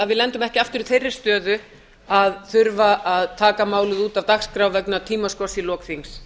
við lendum ekki aftur í þeirri stöðu að þurfa að taka málið út af dagskrá vegna tímaskorts í lok þings